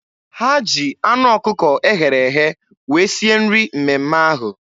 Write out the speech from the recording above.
Ha ji anụ ọkụkọ eghere eghe wee sie nri mmemme ahụ.